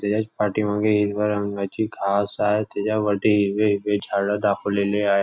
त्याच्याच पाठीमागे हिरव्या रंगाची घास आहे त्याच्यावरती हिरवे हिरवे झाड दाखवलेले आह --